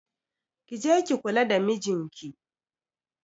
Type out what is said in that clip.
Ki je ki kula da mijinki.